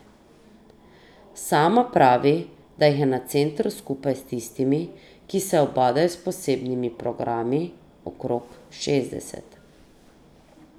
Sama pravi, da jih je na centru skupaj s tistimi, ki se ubadajo s posebnimi programi, okrog šestdeset.